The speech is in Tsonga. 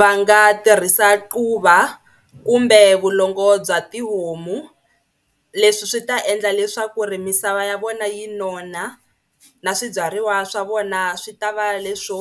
Va nga tirhisa quva kumbe vulongo bya tihomu leswi swi ta endla leswaku ri misava ya vona yi nona na swibyariwa swa vona swi ta va leswo